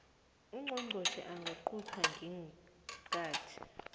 ungqongqotjhe angaqunta ngeenkathi